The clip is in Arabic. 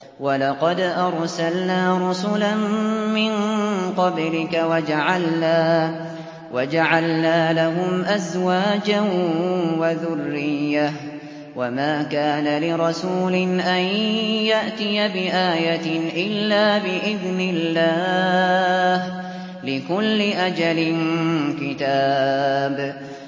وَلَقَدْ أَرْسَلْنَا رُسُلًا مِّن قَبْلِكَ وَجَعَلْنَا لَهُمْ أَزْوَاجًا وَذُرِّيَّةً ۚ وَمَا كَانَ لِرَسُولٍ أَن يَأْتِيَ بِآيَةٍ إِلَّا بِإِذْنِ اللَّهِ ۗ لِكُلِّ أَجَلٍ كِتَابٌ